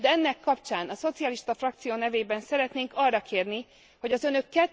De ennek kapcsán a szocialista frakció nevében szeretnénk arra kérni, hogy az Önök